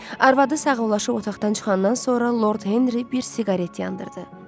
Arvadı sağollaşıb otaqdan çıxandan sonra Lord Henry bir siqaret yandırdı.